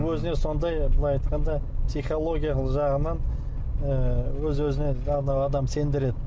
өзіне сондай былай айтқанда психологиялық жағынан ы өз өзіне адам сендіреді